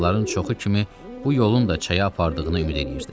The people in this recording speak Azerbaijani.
Cığırların çoxu kimi bu yolun da çaya apardığına ümid eləyirdi.